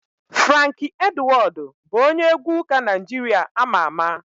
Franki Edwọdụ bụ onye egwu ụka Naijiria ama ama.